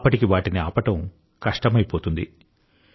అప్పటికి వాటిని ఆపడం కష్టమైపోతుంది